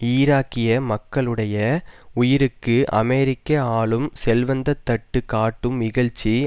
ஈராக்கிய மக்களுடைய உயிருக்கு அமெரிக்க ஆளும் செல்வந்த தட்டு காட்டும் இகழ்ச்சி